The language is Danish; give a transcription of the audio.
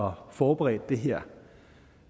og forberedte det her